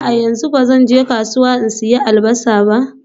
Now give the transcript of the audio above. A'a, yanzu ba zan je kasuwa in sayi Albasa ba